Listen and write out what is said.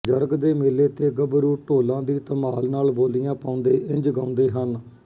ਜਰਗ ਦੇ ਮੇਲੇ ਤੇ ਗੱਭਰੂ ਢੋਲਾਂ ਦੀ ਧਮਾਲ ਨਾਲ ਬੋਲੀਆਂ ਪਾਉਂਦੇ ਇੰਝ ਗਾਉਂਦੇ ਹਨ